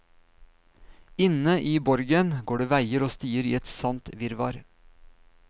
Inne i borgen går det veier og stier i et sant virvar.